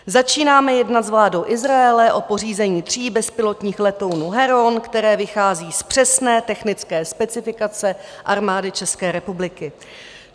Začínáme jednat s vládou Izraele o pořízení tří bezpilotních letounů Heron, které vychází z přesné technické specifikace Armády České republiky.